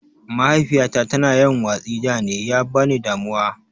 Mahaifiyyata ta na yawan watsi da ne, ya na ba ni damuwa.